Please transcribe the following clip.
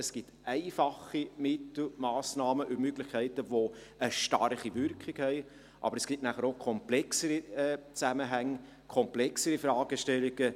Es gibt einfache Mittel, Massnahmen und Möglichkeiten, welche eine starke Wirkung haben, aber es gibt nachher auch komplexere Zusammenhänge, komplexere Fragestellungen.